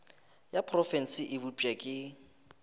ya profense e bopša ke